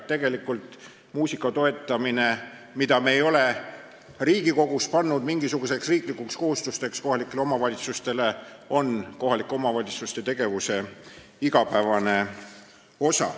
Tegelikult on muusikaelu toetamine, mida me ei ole Riigikogus kohalikele omavalitsustele mingisuguseks riiklikuks kohustuseks teinud, omavalitsuste tegevuses igapäevane praktika.